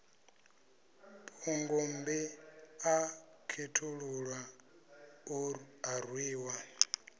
phungommbi a khethululwa a rwiwa